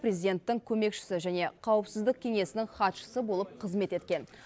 президенттің көмекшісі және қауіпсіздік кеңесінің хатшысы болып қызмет еткен